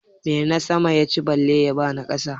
Menasama ya ci bale ya ba na ƙasa?